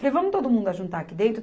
Falei, vamos todo mundo juntar aqui dentro?